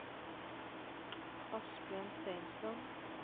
Asbjørn Steinsland